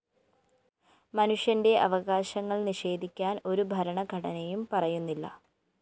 മനുഷ്യന്റെ അവകാശങ്ങള്‍ നിഷേധിക്കാന്‍ ഒരു ഭരണഘടനയും പറയുന്നില്ല